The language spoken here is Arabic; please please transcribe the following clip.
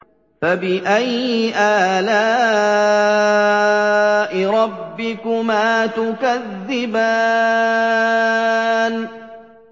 فَبِأَيِّ آلَاءِ رَبِّكُمَا تُكَذِّبَانِ